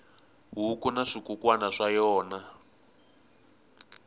huku na swikukwana swa yona